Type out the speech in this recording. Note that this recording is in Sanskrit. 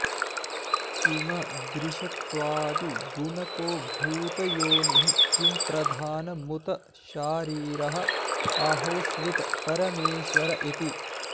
किमदृशत्वादिगुणको भूतयोनिः किं प्रधानमुत शारीरः आहोस्वित् परमेश्वर इति